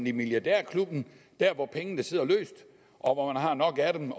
i milliardærklubben hvor pengene sidder løst og hvor man har nok af dem